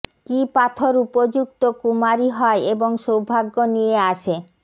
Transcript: কি পাথর উপযুক্ত কুমারী হয় এবং সৌভাগ্য নিয়ে আসে